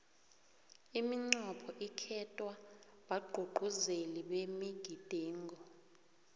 imincopho ikhetwa bagcugcuzeli bemigidingo